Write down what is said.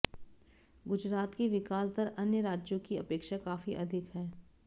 गुजरात की विकास दर अन्य राज्यों ही अपेक्षा काफी अधिक है